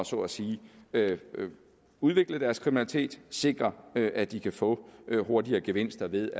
så at sige at udvikle deres kriminalitet at sikre at de kan få hurtigere gevinster ved